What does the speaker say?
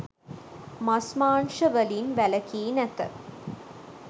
මස් මාංශ වලින් වැලකී නැත.